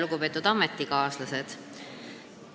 Lugupeetud ametikaaslased!